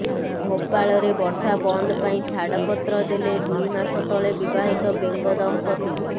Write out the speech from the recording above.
ଭୋପାଳରେ ବର୍ଷା ବନ୍ଦ ପାଇଁ ଛାଡ଼ପତ୍ର ଦେଲେ ଦୁଇ ମାସ ତଳେ ବିବାହିତ ବେଙ୍ଗ ଦମ୍ପତି